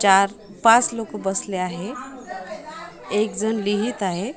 चार पाच लोक बसले आहेत एक जण लिहीत आहे.